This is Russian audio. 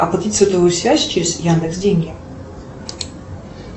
оплатить сотовую связь через яндекс деньги